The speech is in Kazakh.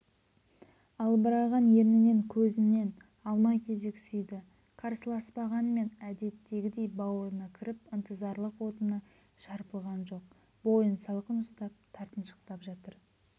албыраған ернінен көзінен алма-кезек сүйді қарсыласпағанмен әдеттегідей бауырына кіріп ынтызарлық отына шарпылған жоқ бойын салқын ұстап тартыншақтап жатыр